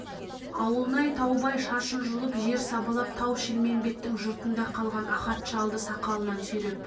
ауылнай таубай шашын жұлып жер сабалап тау-шілмембеттің жұртында қалған ахат шалды сақалынан сүйреп